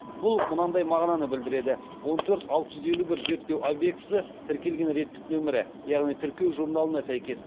бұл мынандай мағынаны білдіреді он төрт алты жүз елу бір зерттеу объектісі тіркелген реттік нөмірі яғни тіркеу журналына сәйкес